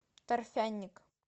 торфяник